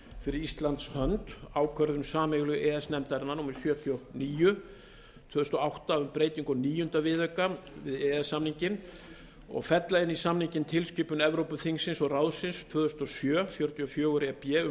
fyrir íslands hönd ákvörðun sameiginlegu e e s nefndarinnar númer sjötíu og níu tvö þúsund og átta um breytinga á níunda viðauka við e e s samninginn og fella inn í samninginn tilskipun evrópuþingsins og ráðsins tvö þúsund og sjö fjörutíu og fjögur e b um